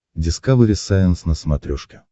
дискавери сайенс на смотрешке